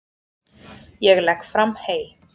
Ég legg fram hey.